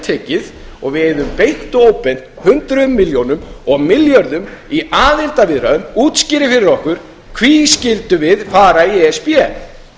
heltekið og við eyðum beint og óbeint hundrað milljónir og milljörðum í aðildarviðræður útskýri fyrir okkur hví skyldum við fara í e s b